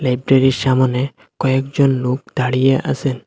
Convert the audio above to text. সামোনে কয়েকজন লোক দাঁড়িয়ে আসেন।